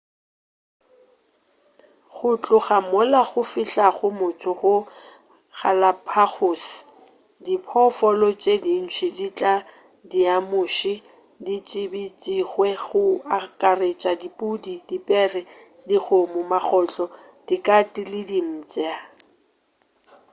go tloga mola go fihlago motho go galapagos diphoofolo tše dintši tša diamuši di tsebišitšwe go akaretša dipudi dipere dikgomo magotlo dikate le dimpša